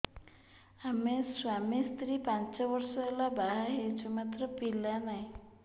ଆମେ ସ୍ୱାମୀ ସ୍ତ୍ରୀ ପାଞ୍ଚ ବର୍ଷ ହେଲା ବାହା ହେଇଛୁ ମାତ୍ର ପିଲା ନାହିଁ